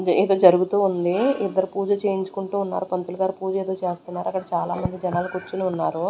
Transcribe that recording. ఇది ఏదో జరుగుతూ ఉంది ఇద్దరు పూజ చేయించుకుంటూ ఉన్నారు పంతులు గారు పూజ ఏదో చేస్తున్నారు అక్కడ చాలా మంది జనాలు కూర్చొని ఉన్నారు.